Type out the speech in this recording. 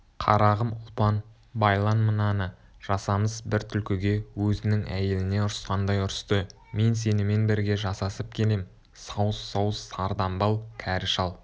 қарағым ұлпан байлан мынаны жасамыс бір түлкіге өзінің әйеліне ұрысқандай ұрысты мен сенімен бірге жасасып келем сауыс-сауыс сардамбал кәрі шал